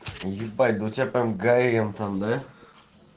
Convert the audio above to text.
ебать да у тебя прям горем там да